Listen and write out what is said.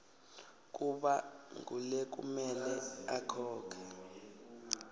kuba ngulekumele akhokhe